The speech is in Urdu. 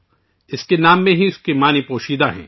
اس کے نام میں ہی اس کا مطلب پوشیدہ ہے